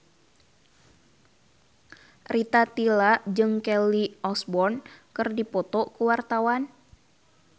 Rita Tila jeung Kelly Osbourne keur dipoto ku wartawan